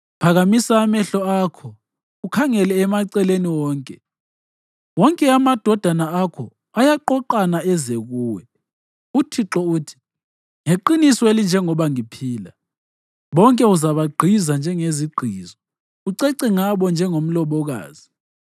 Phakamisa amehlo akho ukhangele emaceleni wonke, wonke amadodana akho ayaqoqana eze kuwe. UThixo uthi, “Ngeqiniso elinjengoba ngiphila, bonke uzabagqiza njengezigqizo, ucece ngabo njengomlobokazi.